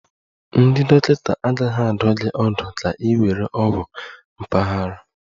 Ndị dọkịta agaghị adụ gị ọdụ ka ị were ogwu mpaghara